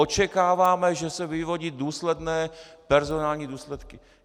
Očekáváme, že se vyvodí důsledné personální důsledky.